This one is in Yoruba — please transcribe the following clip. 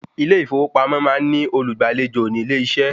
Ilé ìfowópamọ́ máa ń ní olùgbàlejò nílé-iṣẹ́